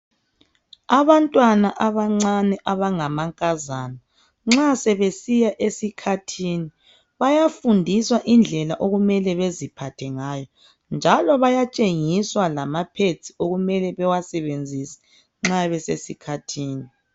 Abantwana abancane abangamankazana nxa sebesiya esikhathini bayafundiswa indlela okumele beziphathe ngayo njalo bayatshengiswa lama- pads okumele bawasebenzise nxa besesikhathini.